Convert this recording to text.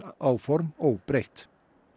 áform óbreytt